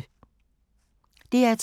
DR2